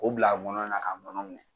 O bila a ngɔnɔ na ka